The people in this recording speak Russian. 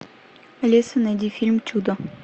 алиса найди фильм чудо